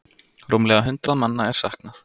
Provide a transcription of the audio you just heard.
Rúmlega hundrað manna er saknað.